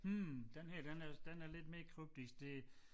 Hm den her den er den er lidt mere kryptisk det